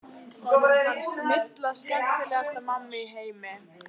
Honum fannst Milla skemmtilegasta mamma í heimi.